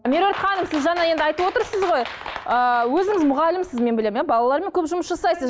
меруерт ханым сіз жаңа енді айтып отырсыз ғой ыыы өзіңіз мұғалімсіз мен білемін иә балалармен көп жұмыс жасайсыз